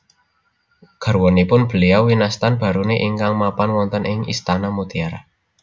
Garwanipun Beliau winastan Baruni ingkang mapan wonten ing istana mutiara